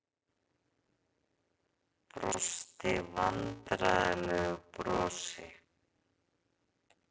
Brosti vandræðalegu brosi.